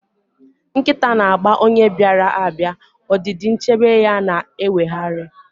Nkịta na-agba onye bịara abịa, ọdịdị nchebe ya na-eweghara.